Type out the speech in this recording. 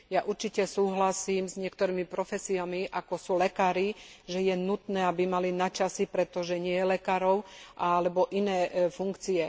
Ja určite súhlasím s niektorými profesiami, ako sú lekári, že je nutné, aby mali nadčasy, pretože nie je lekárov, alebo iné funkcie.